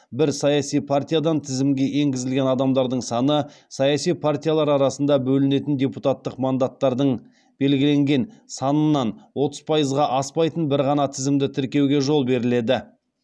бір саяси партиядан тізімге енгізілген адамдардың саны саяси партиялар арасында бөлінетін депутаттық мандаттардың белгіленген санынан отыз пайызға аспайтын бір ғана тізімді тіркеуге жол беріледі